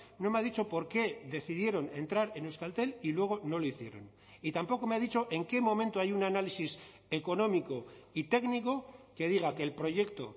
no me ha dicho por qué decidieron entrar en euskaltel y luego no lo hicieron y tampoco me ha dicho en qué momento hay un análisis económico y técnico que diga que el proyecto